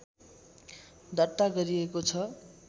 दर्ता गरिएको छ